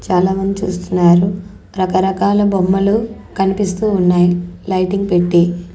చాలా మంది చూస్తున్నారు రకరకాల బొమ్మలు కనిపిస్తూ ఉన్నాయి లైటింగ్ పెట్టి.